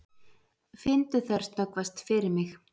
Finndu þær snöggvast fyrir mig.